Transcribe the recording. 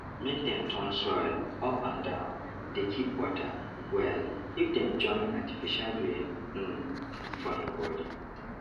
make dem turn soil up and downdey keep water wellif dem join artificial rain um for him body